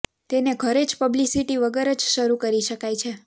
તેને ઘરે જ પબ્લિસિટી વગર જ શરુ કરી શકાય છે